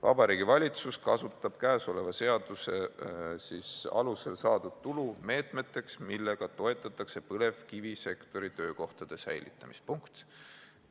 "Vabariigi Valitsus kasutab käesoleva seaduse ... alusel saadud tulu meetmeteks, millega toetatakse põlevkivisektori töökohtade säilitamist.